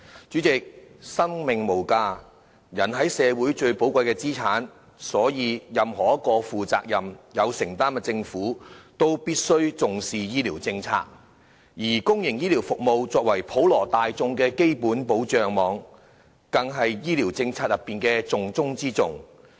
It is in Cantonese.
主席，生命無價，人是社會最寶貴的資產，所以任何一個負責任、有承擔的政府，都必須重視醫療政策，而公營醫療服務作為普羅大眾的基本保障網，更是醫療政策的重中之重。